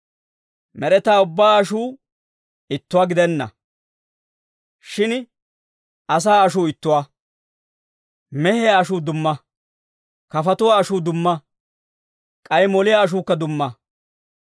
Med'etaa ubbaa ashuu ittuwaa gidenna. Shin asaa ashuu ittuwaa; mehiyaa ashuu dumma; kafatuwaa ashuukka dumma; k'ay moliyaa ashuukka dumma.